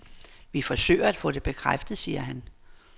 Vi forsøger at få det bekræftet, siger han.